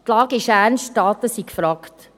Die Lage ist ernst und Taten sind gefragt.